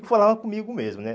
Eu falava comigo mesmo, né?